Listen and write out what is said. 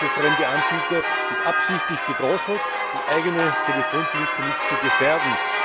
Der Zugang für fremde Anbieter wird absichtlich gedrosselt, um eigene Telefondienste nicht zu gefährden.